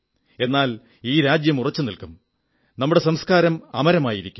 എന്നാൽ ഈ രാജ്യം ഉറച്ചുനിൽക്കും നമ്മുടെ സംസ്കാരം അമരമായിരിക്കും